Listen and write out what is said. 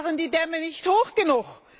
Waren die Dämme nicht hoch genug?